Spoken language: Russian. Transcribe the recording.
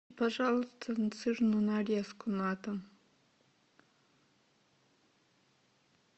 пожалуйста сырную нарезку на дом